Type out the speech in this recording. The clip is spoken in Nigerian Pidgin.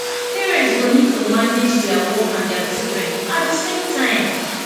parents go need to manage their work and their children at the same time